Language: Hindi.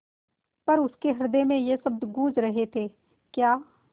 पर उसके हृदय में ये शब्द गूँज रहे थेक्या